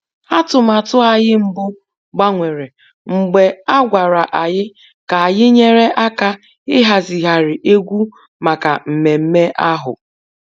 Atụmatụ anyị mbụ gbanwere mgbe a gwara anyị ka anyị nyere aka ịhazigharị egwu maka mmemme ahụ